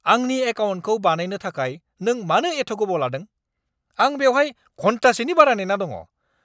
आंनि एकाउन्टखौ बानायनो थाखाय नों मानो एथ' गोबाव लादों? आं बेवहाय घन्टासेनि बारा नेना दङ!